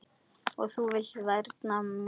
Og þú vilt vernda mig.